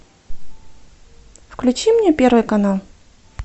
включи мне первый канал